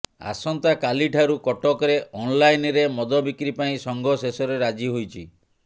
ଆସନ୍ତାକାଲିଠାରୁ କଟକରେ ଅନଲାଇନରେ ମଦ ବିକ୍ରି ପାଇଁ ସଂଘ ଶେଷରେ ରାଜି ହୋଇଛି